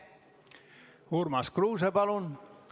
Urmas Kruuse, palun!